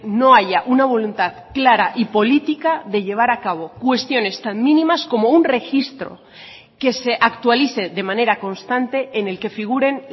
no haya una voluntad clara y política de llevar a cabo cuestiones tan mínimas como un registro que se actualice de manera constante en el que figuren